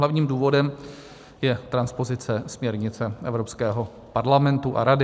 Hlavním důvodem je transpozice směrnice Evropského parlamentu a Rady.